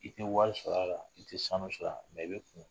I te wari sɔrɔ a la, i te sanu sɔrɔ a la. i be kun